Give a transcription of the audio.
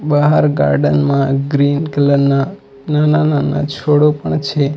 બહાર ગાર્ડન માં green colour ના નાના નાના છોડો પણ છે.